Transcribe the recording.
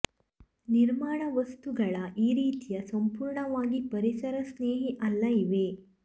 ನಿರ್ಮಾಣ ವಸ್ತುಗಳ ಈ ರೀತಿಯ ಸಂಪೂರ್ಣವಾಗಿ ಪರಿಸರ ಸ್ನೇಹಿ ಅಲ್ಲ ಇವೆ